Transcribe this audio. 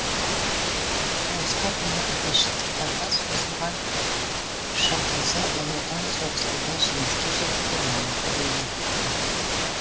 соғысқа дейінгі бесжылдықтарда соғылған шқз ұлы отан соғысында жеңіске жетуде маңызды рөл атқарған